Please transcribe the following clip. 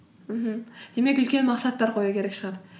мхм демек үлкен мақсаттар қою керек шығар